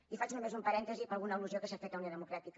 i faig només un parèntesi per alguna al·lusió que s’ha fet a unió democràtica